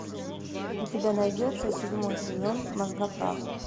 у тебя найдется седьмой сезон мозгоправ